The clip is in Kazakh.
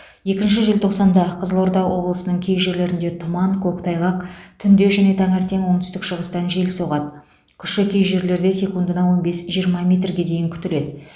екінші желтоқсанда қызылорда облысының кей жерлерінде тұман көктайғақ түнде және таңертең оңтүстік шығыстан жел соғады күші кей жерлерде секундына он бес жиырма метрге дейін күтіледі